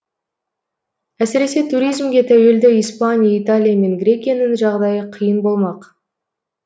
әсіресе туризмге тәуелді испания италия мен грекияның жағдайы қиын болмақ